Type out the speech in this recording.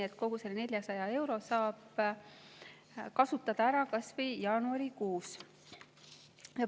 Ehk kogu selle 400 eurot saab kasutada ära kas või jaanuarikuus.